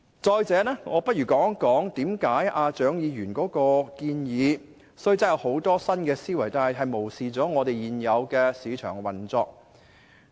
再者，讓我談談為何蔣議員的建議即使展現出很多新思維，但卻漠視了現有的市場運作。